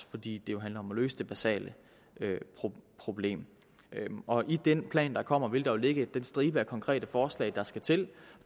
fordi det jo handler om at løse det basale problem og i den plan der kommer vil der ligge den stribe af konkrete forslag der skal til